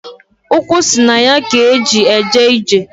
Ukwu si na ya k'e ji eje ije.